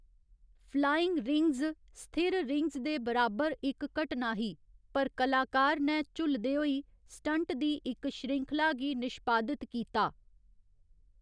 Flying rings स्थिर rings दे बराबर इक घटना ही, पर कलाकार नै झुल्लदे होई स्टंट दी इक श्रृंखला गी निष्पादित कीता।